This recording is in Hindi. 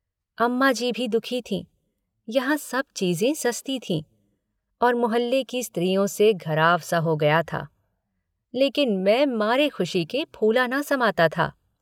अम्मा जी भी दुःखी थीं यहाँ सब चीज़ें सस्ती थीं और मुहल्ले की स्त्रियों से घराव सा हो गया था लेकिन मैं मारे खुशी के फूला न समाता था।